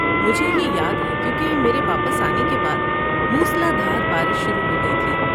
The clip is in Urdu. مجھے یہ یاد ہے کیونکہ میرے واپس آنے کے بعد موسلا دھار بارش شروع ہو گئی تھی۔